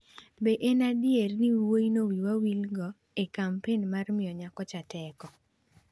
Be en adier ni wuoyino wiwa wilgo e kampen mar miyo nyako teko?